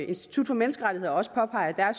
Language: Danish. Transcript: institut for menneskerettigheder også påpeger